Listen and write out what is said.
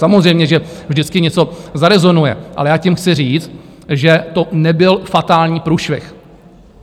Samozřejmě že vždycky něco zarezonuje, ale já tím chci říct, že to nebyl fatální průšvih.